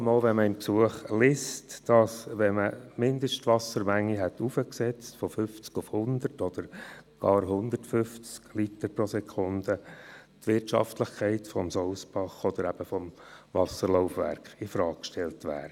Dies vor allem deshalb, weil man im Gesuch liest, dass wenn die Mindestwassermenge heraufgesetzt worden wäre von 50 auf 100 oder sogar 150 Liter pro Sekunde, die Wirtschaftlichkeit des Sousbachs oder des Wasserlaufwerks infrage gestellt wäre.